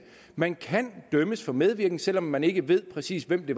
man kan dømmes for medvirken selv om man ikke ved præcis hvem det